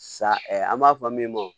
Sa an b'a fɔ min ma